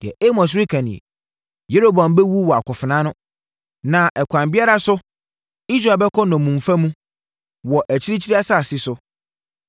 Deɛ Amos reka nie: “ ‘Yeroboam bɛwu wɔ akofena ano, na ɛkwan biara so Israel bɛkɔ nnommumfa mu, wɔ akyirikyiri asase so.’ ”